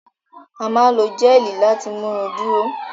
A máa n lo géelí láti mú irun duro.